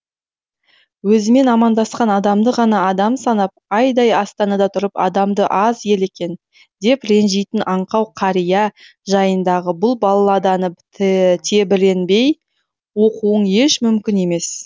өзімен амандасқан адамды ғана адам санап айдай астанада тұрып адамы аз ел екен деп ренжитін аңқау кәрия жайындағы бұл балладаны тебіренбей оқуың еш мүмкін емес